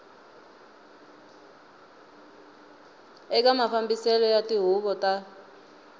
eka mafambiselo ya tihuvo ta